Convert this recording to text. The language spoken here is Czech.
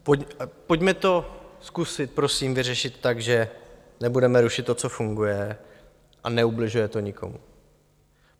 Pojďme to zkusit prosím vyřešit tak, že nebudeme rušit to, co funguje a neubližuje to nikomu.